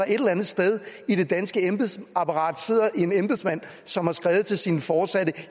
eller andet sted i det danske embedsapparat sidder en embedsmand som har skrevet til sine foresatte